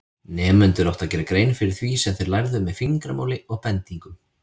Nemendur áttu að gera grein fyrir því sem þeir lærðu með fingramáli og bendingum.